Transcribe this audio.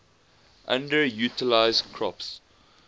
underutilized crops